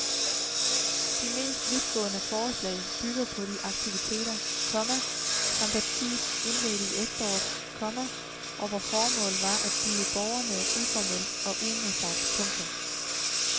De mest vidtgående forslag bygger på de aktiviteter, komma som partiet indledte i efteråret, komma og hvor formålet var at møde borgerne uformelt og uimodsagt. punktum